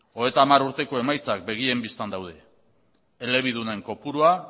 hogeita hamar urteko emaitzak begien bistan daude elebidunen kopurua